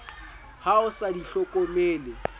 ha o sa di hlokomele